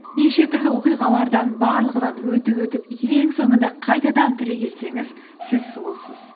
неше түрлі оқиғалардан барлығынан өтіп өтіп ең соңында қайтадан түрегелсеңіз сіз сұлусыз